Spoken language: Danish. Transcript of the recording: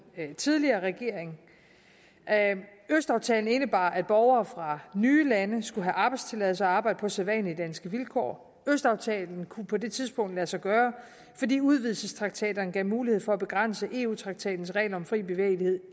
tidligere regering østaftalen indebar at borgere fra nye lande skulle have arbejdstilladelse og arbejde på sædvanlige danske vilkår østaftalen kunne på det tidspunkt lade sig gøre fordi udvidelsestraktaterne gav mulighed for at begrænse eu traktatens regler om fri bevægelighed